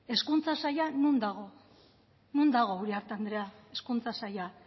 hezkuntza saila non dago non dago uriarte andrea hezkuntza saila